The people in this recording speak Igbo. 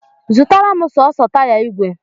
Zụtara m sọọsọ taya ìgwè!